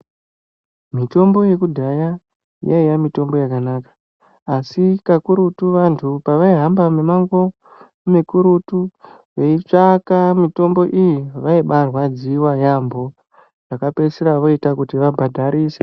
Mitombo yekuddhaya yaiya mutombo yakanaka asi kakurutu vantu pavaihba mumango mukurutu veitsvaka mitombo iyi vaibarwadziwa yaampo zvakapeisira zvoita kuti vabhadharise.